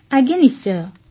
ଆଜ୍ଞା ନିଶ୍ଚୟ